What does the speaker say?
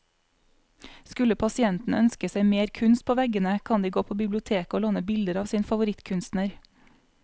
Skulle pasientene ønske seg mer kunst på veggene, kan de gå på biblioteket å låne bilder av sin favorittkunstner.